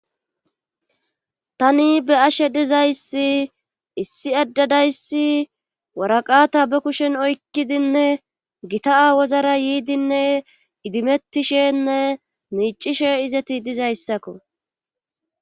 tani be7ashe dizayssi issi adde dayssi waraqata be kushen oykkidinne gita awozara yiidinne idimettishenne miicishe izeti dizayssakko